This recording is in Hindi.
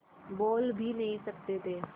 बोल भी नहीं सकते थे